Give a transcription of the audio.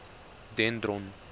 dendron